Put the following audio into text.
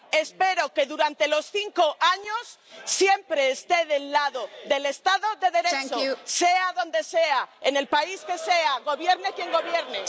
Espero que durante los cinco años siempre esté del lado del Estado de Derecho, sea donde sea, en el país que sea, gobierne quien gobierne.